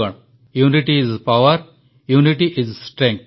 unity is power unity is strength